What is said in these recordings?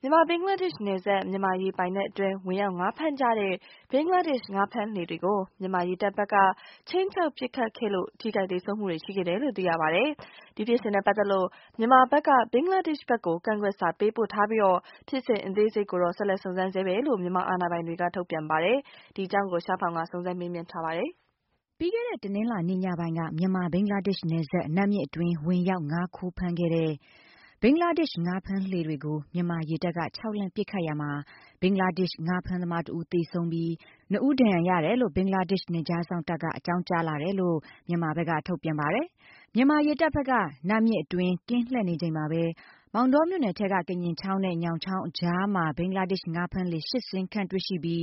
မြန်မာ - ဘင်္ဂလားဒေ့ရှ်နယ်စပ် မြန်မာရေပိုင်နက်အတွင်း ဝင်ရောက်ငါးဖမ်းကြတဲ့ ဘင်္ဂလားဒေ့ရှ် ငါးဖမ်းလှေတွေကို မြန်မာရေတပ်ဘက်က ခြိမ်းခြောက်ပစ်ခတ်ခဲ့လို့ ထိခိုက်သေဆုံးမှုတွေ ရှိခဲ့တယ်လို့ သိရပါတယ်။ ဖြစ်စဉ်နဲ့ ပတ်သက်လို့ မြန်မာဘက် က ဘင်္ဂလားဒေ့ရ်ှ ဘက်ကို ကန့်ကွက်စာပေးပို့ ထားပြီး၊ ဖြစ်စဉ်အသေးစိတ်ကိုတော့ ဆက်လက် စုံစမ်းနေတယ်လို့ မြန်မာ အာဏာပိုင်တွေ က ထုတ်ပြန်ပါတယ်။ ရှားဖောင်က စုံစမ်းမေးမြန်းထားပါတယ်။ ပြီးခဲ့တဲ့ တနင်္လာနေ့ ညပိုင်းက မြန်မာ- ဘင်္ဂလားဒေ့ရ်ှ နယ်စပ် နတ်မြစ်အတွင်း ဝင်ရောက်ငါးခိုးဖမ်းတဲ့ ဘင်္ဂလားဒေ့ရှ် ငါးဖမ်းလှေတွေ ကို မြန်မာရေတပ်က ခြောက်လှန့် ပစ်ခတ်ရာမှာ၊ ဘင်္ဂလားဒေ့ရ်ှ ငါးဖမ်းသမားတဦး သေဆုံးပြီး နှစ်ဦး ဒဏ်ရာရတယ်လို့ ဘင်္ဂလာဒေ့ရ်ှ နယ်ခြားစောင့်တပ်က အကြောင်းကြားလာတယ်လို့ မြန်မာဘက်က ထုတ်ပြန်ပါတယ်။ မြန်မာရေတပ်ဘက်က နစ်မြစ်အတွင်း ကင်းလှည့်နေချိန်မှာပဲ မောင်တောမြို့နယ် ထဲက ကညင်ချောင်း နဲ့ ညောင်ချောင်းအကြားမှာ ဘင်္ဂလားဒေ့ရ်ှ ငါးဖမ်းလှေ ၈ စီး ခန့်တွေ့ရှိပြီး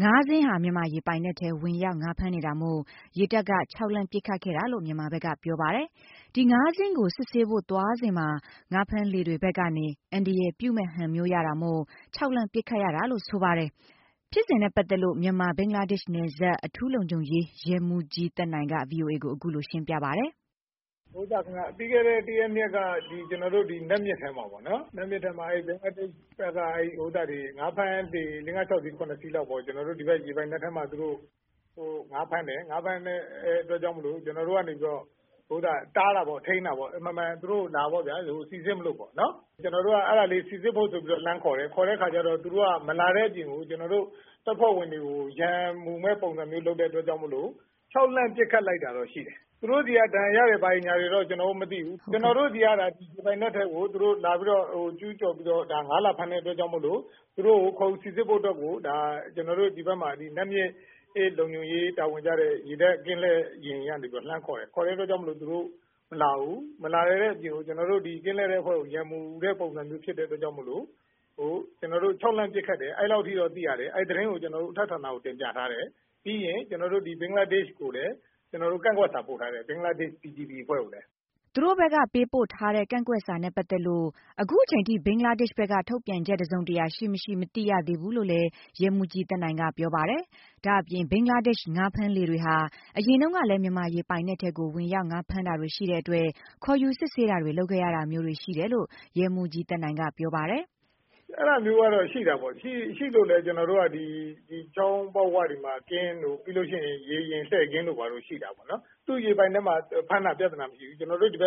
၊ ၅ စီး ဟာ မြန်မာရေပိုင်နက်ထဲ ဝင်ရောက် ငါးဖမ်းနေတာမို့ ရေတပ် က ခြောက်လှန့်ပစ်ခတ်ခဲ့တာလို့ မြန်မာဖက်က ပြောပါတယ်။ ဒီ ၅ စီးကို စစ်ဆေးဖို့ သွားစဉ်မှာ ငါးဖမ်းလှေတွေဘက်ကနေ အန္တရာယ်ပြုမယ့် ဟန် မြင်ရတာ မို့ ခြောက်လှန့် ပစ်ခတ်ရတာလို့ဆိုပါတယ်။ ဖြစ်စဉ်နဲ့ပတ်သက်လို့ မြန်မာ ဘင်္ဂလားဒေ့ရ်ှ နယ်စပ် အထူးလုံခြုံရေး ရဲမှုးကြီးသက်နိုင်က ဗွီအိုအေကို အခုလို ရှင်းပြပါတယ်။ “ပြီးခဲ့တဲ့ ၁ ရက်- ၂ ရက်က ကျနော်တို့ နတ်မြစ်ထဲမှာပေါ့နော် ၊ ဘင်္ဂလားဒေ့ရ်ှ ဘက်က ငါးဖမ်းလှေတွေ ၆-၇ စီးလောက်ပေါ့နော် ၊ ကျနော်တို့ ဒီဘက် ရေပိုင်နက်ထဲမှာ သူတို့ ၁ ငါးဖမ်းတယ်၊ ငါးဖမ်းတဲ့အတွက်ကြောင့်မို့လို့ ကျနော်တို့ကနေပြီးတော့ တားတာပေါ့၊ ထိန်းတာပေါ့ အမှန်မှန် သူတို့ကို စိစစ်မလို့ပေါ့နော်၊ ကျနော်တို့က အဲဒါ စိစစ်ဖို့ဆိုပြီးတော့ လှမ်းခေါ်တယ်၊ ခေါ်တဲ့အခါကျတော့ မလာတဲ့အပြင်ကို သူတို့က ကျနော်တို့ တက်ဖွဲ့ဝင်တွေကို ရန်မူမယ့် ပုံစံမျိုးလုပ်တဲ့အတွက်ကြောင့်မို့လို့ ခြောက်လန့် ပစ်ခတ်လိုက်တာတော့ရှိတယ်။ သူတို့ဆီက ဒဏ်ရာရတာတွေဆိုတာတော့ ကျနော်တို့ မသိဘူး၊ ကျနော်တို့ ဒီပိုင်နက်ထဲကို လာပြီးတော့ ကျူးကျော်ပြီးတော့ ငါးလာဖမ်း တဲ့အတွက် သူတို့ကို ခေါ်ယူစိစစ်ဖို့ အတွက်ကို ကျနော်တို့ ဒီနတ်မြစ် လုံခြုံရေး တာဝန်ကျတဲ့ ရေတပ်ကင်းလှည့်ယာဉ်တွေကနေ လှမ်းခေါ်တယ်၊ အလိုခေါ်တဲ့အချိန် သူတို့ မလာဘူး မလာတဲ့အပြင်ကို ကျနော်တို့ ကင်းလှည့်တဲ့အဖွဲ့ကို ရန်မူုတဲ့ပုံစံမျိုးဖြစ်တဲ့အတွက်ကြောင့် ကျနော်တို့ ခြောက်လှန့်ပစ်ခတ်တယ်၊ အဲလောက်အထိတော့ သိရတယ်၊ အဲဒီသတင်းကို ကျနော်တို့ အထက်ဌာနကို တင်ပြထားတယ်၊ ပြီးရင် ဒီ ဘင်္ဂလားဒေ့ရ်ှ ဘက်ကိုလည်း ကန့်ကွက်စာပို့ထားတယ်။ ဘင်္ဂလားဒေ့ရ်ှ BGP (Border Guard Police) အဖွဲ့ကိုလည်း။” သူတို့ဘက်က ပေးပို့ထားတဲ့ ကန့်ကွက်စာနဲ့ပတ်သက်လို့ အခုချိန်အထိ ဘင်္ဂလာဒေ့ရှ်ဘက်က တုံ့ပြန်ချက်တစုံတရာ ရှိမရှိ မသိရသေးဘူး လို့လည်း ရဲမှူးကြီး သက်နိုင်က ပြောပါတယ်။ ဒါ့အပြင် ဘင်္ဂလားဒေ့ရှ် ငါးဖမ်းလှေတွေဟာ အရင်တုန်းကလည်း မြန်မာရေပိုင်နက် ထဲကို ဝင်ရောက်ငါးဖမ်းတာတွေရှိတဲ့အတွက် ခေါ်ယူစစ်ဆေးတာတွေ လုပ်ခဲ့ရတာမျိုးတွေ ရှိတယ်လို့ရဲမှူးကြီး သက်နိုင်က ပြောပါတယ်။ “အဲဒါမျိုးကလည်း ရှိတာပေါ့ ၊ ရှိလို့ ကျနော်တို့ ချောင်းပေါက်ဝတွေမှာ ကင်းတို့ ၊ ပြီးရင် ရေယာဉ်လှည့်ကင်းတို့ ရှိတာပေါ့။ သူ့ရေပိုင်နက်မှာ ဖမ်းတာ ပြဿနာမရှိဘူး ကျနော်တို့ ဒီ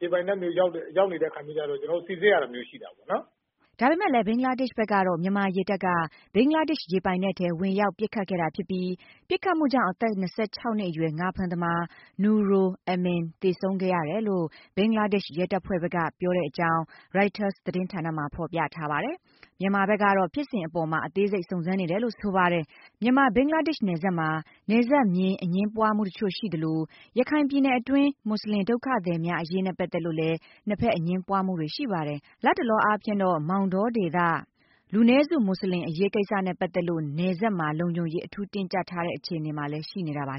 ရေပိုင်နက်ဘက်ရောက်နေတဲ့ အခါမျိုးကျတော့ ကျနော်တို့ စိစစ်ရတဲ့ အခါမျိုး ရှိတာပေါ့နော်။” ဒါပေမယ့်လည်း ဘင်္ဂလားဒေ့ရှ်ဘက်ကတော့ မြန်မာရေတပ်က ဘင်္ဂလားဒေ့ရှ်ရေပိုင်နက်ထဲ ဝင်ရောက်ပစ်ခတ်တာဖြစ်ပြီး၊ ပစ်ခတ်မှုကြောင့် အသက် ၂၆ နှစ်အရွယ် ငါးဖမ်းသမား Nurul Amin သေဆုံးသွားခဲ့ရတယ်လို့ ဘင်္ဂလားဒေ့ရှ် ရဲတပ်ဖွဲ့ဘက်က ပြောကြောင်း Reuters သတင်းဌာနမှာ ဖော်ပြထားပါတယ်။ မြန်မာဘက်ကကတော့ ဖြစ်စဉ်အပေါ်မှာ အသေးစိတ် စုံစမ်းနေတယ်လို့ ဆိုပါတယ်။ မြန်မာ-ဘင်္ဂလားဒေ့ရှ် နယ်စပ်မှာ နယ်စပ်မျဉ်း အငြင်းပွားမှုအချို့ရှိသလို၊ ရခိုင်ပြည်နယ်တွင်း မွတ်စလင် ဒုက္ခသည်များအရေးနဲ့ ပတ်သက်လို့လည်း နှစ်ဖက် အငြင်းပွားမှုတွေ ရှိပါတယ်။ လတ်တလောအားဖြင့်တော့ မောင်တောဒေသ လူနည်းစု မွတ်စလင်အရေးကိစ္စတွေနဲ့ ပတ်သက်လို့ နယ်စပ်မှာ လုံခြုံရေး အထူးတင်းကြပ်တဲ့ အခြေအနေမှာလည်း ရှိနေတာပါ